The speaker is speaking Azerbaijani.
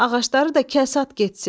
Ağacları da kəs, at getsin.